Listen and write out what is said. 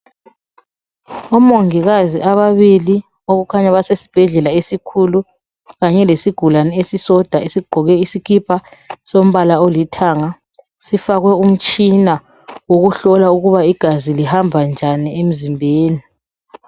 Omongikazi ababili okukhanya basesibhedlela esikhulu kanye lesigulane esisodwa esiqoke isikipa solombala olithanga sifakwe umtshina wokuhlolwa ukuba igazi lihamba njani emzimbeni.